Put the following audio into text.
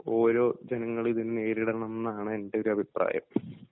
ഓരോ ജനങ്ങളും ഇതിനെ നേരിടണം എന്നാണ് എൻ്റെ ഒരു അഭിപ്രായം.